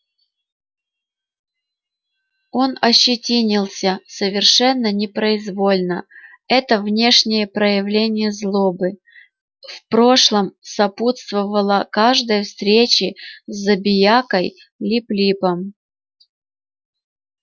он ощетинился совершенно непроизвольно это внешнее проявление злобы в прошлом сопутствовало каждой встрече с забиякой лип липом